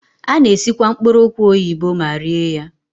A na-esikwa mkpụrụ ụkwa oyibo ma rie ya.